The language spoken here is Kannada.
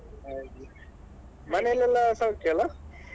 ಹಾಗೆ ಮನೇಲೆಲ್ಲಾ ಸೌಖ್ಯಲ್ಲ?